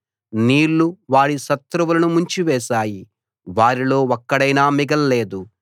నీళ్లు వారి శత్రువులను ముంచివేశాయి వారిలో ఒక్కడైనా మిగల్లేదు